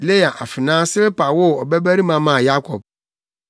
Lea afenaa Silpa woo ɔbabarima maa Yakob.